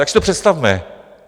Tak si to představme.